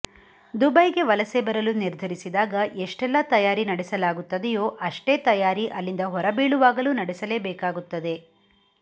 ದುಬೈಗೆ ವಲಸೆ ಬರಲು ನಿರ್ಧರಿಸಿದಾಗ ಎಷ್ಟೆಲ್ಲಾ ತಯಾರಿ ನಡೆಸಲಾಗುತ್ತದೆಯೋ ಅಷ್ಟೇ ತಯಾರಿ ಅಲ್ಲಿಂದ ಹೊರಬೀಳುವಾಗಲೂ ನಡೆಸಲೇಬೇಕಾಗುತ್ತದೆ